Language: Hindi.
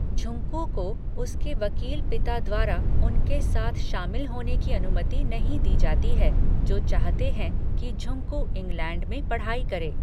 झुंकू को उसके वकील पिता द्वारा उनके साथ शामिल होने की अनुमति नहीं दी जाती है जो चाहते हैं कि झुंकू इंग्लैंड में पढ़ाई करे।